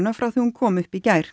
frá því hún kom upp í gær